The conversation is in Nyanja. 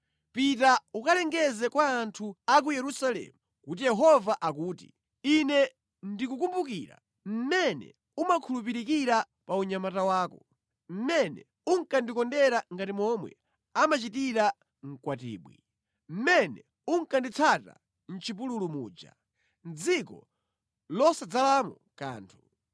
“Pita ukalengeze kwa anthu a ku Yerusalemu kuti Yehova akuti, “ ‘Ine ndikukumbukira mmene umakhulupirikira pa unyamata wako, mmene unkandikondera ngati momwe amachitira mkwatibwi, mmene unkanditsata mʼchipululu muja; mʼdziko losadzalamo kanthu.